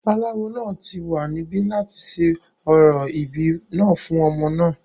aláwo náà ti wà níbí láti ṣe orò ìbí náà fún ọmọ náà